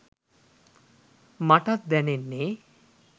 මටත් දැනෙන්නෙ